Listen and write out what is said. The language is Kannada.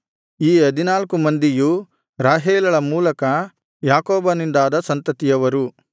ಈ ಹದಿನಾಲ್ಕು ಮಂದಿಯು ರಾಹೇಲಳ ಮೂಲಕ ಯಾಕೋಬನಿಂದಾದ ಸಂತತಿಯವರು